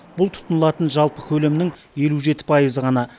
бұл тұтынылатын жалпы көлемнің елу жеті пайызы ғана